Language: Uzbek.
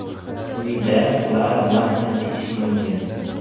Quyida ular bilan tanishish mumkin.